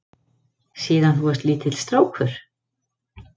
Síðan þú varst lítill strákur?